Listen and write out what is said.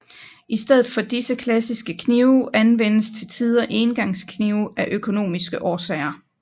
I stedet for disse klassiske knive anvendes til tider engangsknive af økonomiske årsager